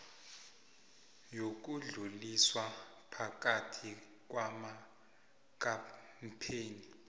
yokudluliswa phakathi kwamakampani